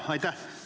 Jaa, aitäh!